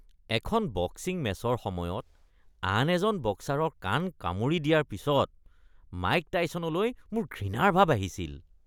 এখন বক্সিং মেচৰ সময়ত আন এজন বক্সাৰৰ কাণ কামুৰি দিয়াৰ পিছত মাইক টাইছনলৈ মোৰ ঘৃণাৰ ভাব আহিছিল।